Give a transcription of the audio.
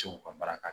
Sew ka baara ka